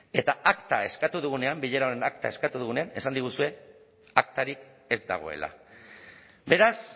eta akta eskatu dugunean bilera honen akta eskatu dugunean esan diguzue aktarik ez dagoela beraz